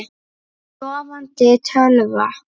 Sofandi tölva.